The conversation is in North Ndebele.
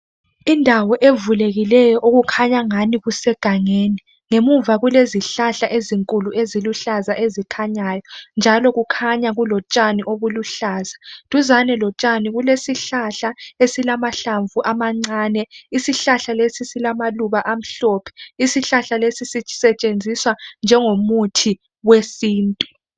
Indawo evulekileyo okukhanya ingani kusegangeni. Ngemuva kulezihlahla ezinkulu eziluhlaza ezikhanyayo njalo kukhanya kulotshani obuluhlaza. Duzane lotshani kulesihlahla esilamahlamvu amancane. Isihlahla lesi silamaluba amhlophe. Isihlahla lesi sisetshenziswa njengomuthi wesintu.